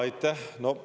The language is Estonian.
Aitäh!